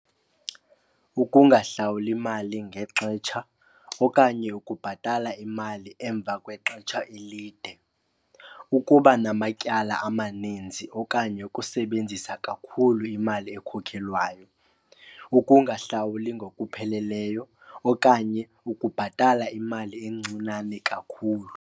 Ukungahlawuli mali ngexetsha okanye ukubhatala imali emva kwexetsha elide. Ukuba namatyala amaninzi okanye ukusebenzisa kakhulu imali ekhokhelwayo. Ukungahlawuli ngokupheleleyo okanye ukubhatala imali encinane kakhulu.